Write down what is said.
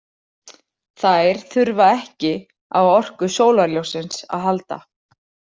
Þær þurfa ekki á orku sólarljóssins að halda.